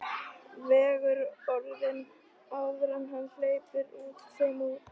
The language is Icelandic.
Vegur orðin áður en hann hleypir þeim út.